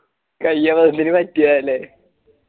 കൈ അബദ്ധത്തിൽ പറ്റിയതായാലെ